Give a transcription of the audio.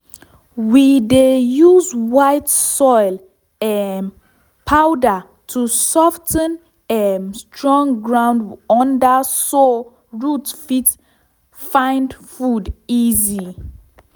we dey use white soil um powder to sof ten um strong ground under so root fit find food easy.